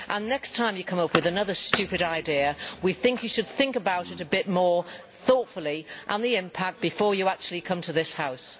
Next time you come up with another stupid idea we think you should think about it a bit more thoughtfully and about the impact before you actually come to this House.